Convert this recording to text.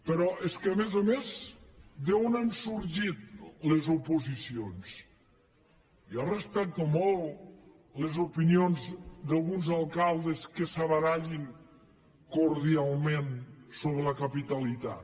però és que a més a més d’on han sorgit les oposicions jo respecto molt les opinions d’alguns alcaldes que se barallin cordialment sobre la capitalitat